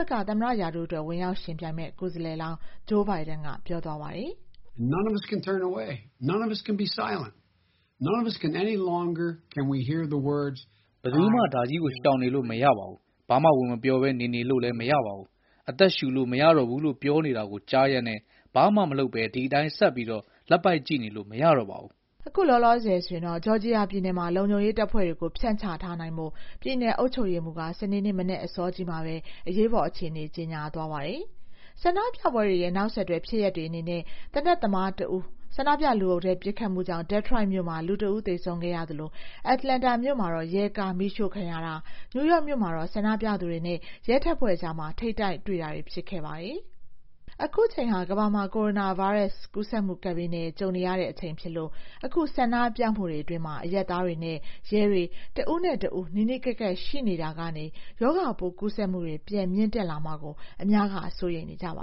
ဘက်က သမ္မတရာထူးအတွက် ဝင်ရောက်ယှဉ်ပြိုင်မယ့် ကိုယ်စားလှယ်လောင်း Joe Biden ကတော့ Mr FLyod သေဆုံးမှုရဲ့ နောက်ကွယ်မှာ အမြစ်တွယ်ရှိနေခဲ့တဲ့ လူမျိုးရေးခွဲခြားမှုရဲ့ ဒဏ်ရာဟောင်း ရှိနေတာဖြစ်တယ်လို့ ပြောသွားပါတယ်။ “ဘယ်သူမှ ဒါကြီးကို ရှောင်နေလို့ မရပါဘူး။ ဘာမှဝင်မပြောဘဲ နေနေလို့လည်း မရပါဘူး။ အသက်ရှူလို့ မရတော့ဘူးလို့ ပြောနေတာကို ကြားရက်နဲ့ ဘာမှမလုပ်ဘဲ ဒီတိုင်း ဆက်လက်ပိုက်ကြည့်နေလို့ မရတော့ပါဘူး။” ဂျော်ဂျီယာပြည်နယ်မှာတော့ လုံခြုံရေးတပ်ဖွဲ့တွေကို ဖြန့်ချထားနိုင်ဖို့ ပြည်နယ်အုပ်ချုပ်ရေးမှူးက စနေနေ့ မနက်အစောမှာပဲ အရေးပေါ်အခြေအနေ ကြေညာလိုက်ပါတယ်။ ဆန္ဒပြပွဲတွေရဲ့ နောက်ဆက်တွဲဖြစ်ရပ်တွေ အနေနဲ့တော့ သေနတ်သမားတဦး ဆန္ဒပြလူအုပ်ထဲ ပစ်ခတ်မှုကြောင့် Detroit မြို့မှာ လူတဦး သေဆုံးခဲ့ရသလို Atlanta မြို့မှာ ရဲကားမီးရှို့ခံရတာ၊ နယူးယောက်မှာတော့ ဆန္ဒပြသူတွေနဲ့ ရဲတပ်ဖွဲ့အကြား ထိပ်တိုက်တွေ့တာတွေ ဖြစ်ခဲ့ပါတယ်။ အခုအချိန်ဟာ ကမ္ဘာမှာ ကိုရိုနာဗိုင်းရပ်စ် ကူးစက်မှု ကပ်ဘေးနဲ့ ကြုံနေရတဲ့ အချိန်ဖြစ်လို့ အခုဆန္ဒပြမှုတွေအတွင်း အရပ်သားတွေ ရဲတွေ တဦးနဲ့တဦး နီးနီးကပ်ကပ် ရှိနေရတာကနေ ရောဂါပိုးကူးစက်မှုတွေ ပြန်မြင့်တက်လာမှာကို အများက စိုးရိမ်နေကြပါ